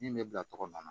Min bɛ bila tɔgɔ min na